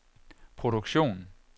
produktion